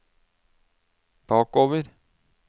bakover